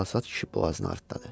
Çalsad kişi boğazını artdadı.